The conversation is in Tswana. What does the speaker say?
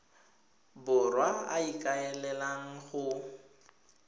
borwa a a ikaelelang go